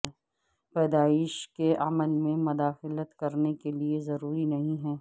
پیدائش کے عمل میں مداخلت کرنے کے لئے ضروری نہیں ہے